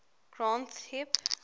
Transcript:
granth hib